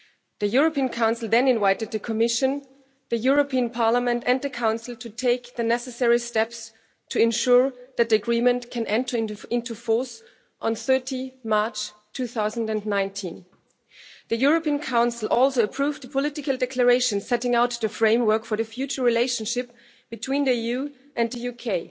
The European Council then invited the Commission, the European Parliament and the Council to take the necessary steps to ensure that the agreement can enter into force on 30 March 2019. The European Council also approved the political declaration setting out the framework for the future relationship between the EU and the UK.